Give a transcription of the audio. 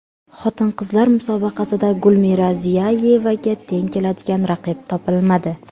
Xotin-qizlar musobaqasida Gulmira Ziyayevaga teng keladigan raqib topilmadi.